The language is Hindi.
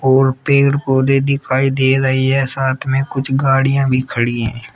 और पेड़ पौधे दिखाई दे रही है साथ में कुछ गाड़ियां भी खड़ी हैं।